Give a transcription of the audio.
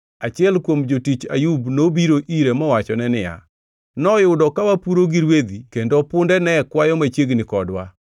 achiel kuom jotij Ayub nobiro ire mowachone niya, “Noyudo ka wapuro gi rwedhi kendo punde ne kwayo machiegni kodwa,